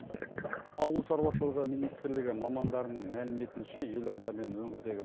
ауыл шаруашылығы министрлігі мамандарының мәліметінше елорда мен өңірдегі